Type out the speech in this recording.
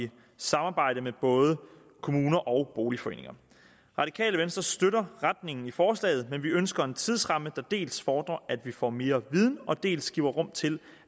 samarbejde med både kommuner og boligforeninger radikale venstre støtter retningen i forslaget men vi ønsker en tidsramme der dels fordrer at vi får mere viden og dels giver rum til